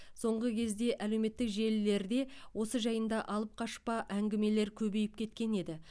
соңғы кезде әлеуметтік желілерде осы жайында алып қашпа әңгімелер көбейіп кеткен еді